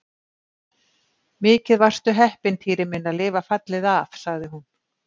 Mikið varstu heppinn, Týri minn, að lifa fallið af sagði hún.